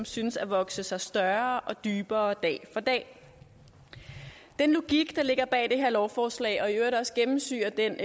synes at vokse sig større og dybere dag for dag den logik der ligger bag det her lovforslag og i øvrigt også gennemsyrer den